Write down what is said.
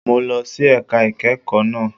Mo lọ sí ẹ̀ka ìkẹ́kọ̀ọ́ náà.